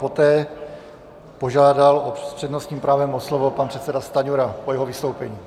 Poté požádal s přednostním právem o slovo pan předseda Stanjura po jeho vystoupení.